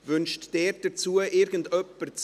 Wünscht jemand das Wort hierzu?